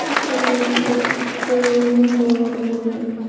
इस तस्वीर में एक नजर आ रही है।